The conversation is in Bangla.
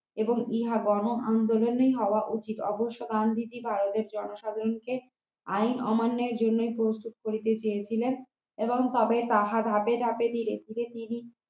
এবং ইহা গণ আন্দোলনই হওয়া উচিত আবশ্যক গান্ধিজি ভারতের জনসাধারণকে আইন অমান্যের জন্যই প্রস্তুত করিতে চেয়েছিলেন এবং তবে তাহা ধাপে ধাপে ধীরে ধীরে তিনি